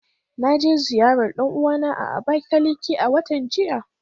Na je ziyarar dan uwana a Abakiliki a watan jiya.